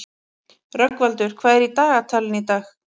Rögnvaldur, hvað er í dagatalinu í dag?